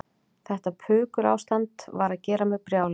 Þetta pukurástand var að gera mig brjálaða.